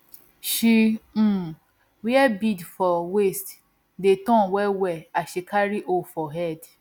she um wear beads for waist dey turn well well as she carry hoe for head